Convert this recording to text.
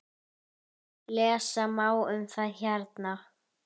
Lesa má um það hérna.